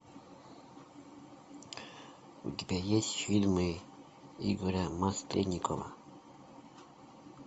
у тебя есть фильмы игоря масленникова